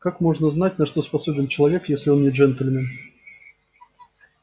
как можно знать на что способен человек если он не джентльмен